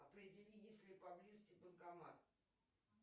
определи есть ли поблизости банкомат